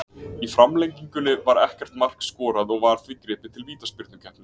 Í framlengingunni var ekkert mark skorað og var því gripið til vítaspyrnukeppni.